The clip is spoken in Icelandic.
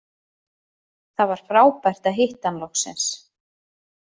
Það var frábært að hitta hann loksins